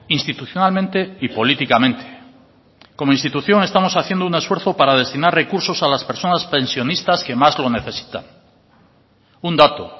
institucionalmente y políticamente como institución estamos haciendo un esfuerzo para destinar recursos a las personas pensionistas que más lo necesitan un dato